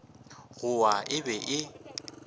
go wa e be e